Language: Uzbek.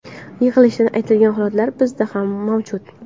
Yig‘ilishda aytilgan holatlar bizda ham mavjud.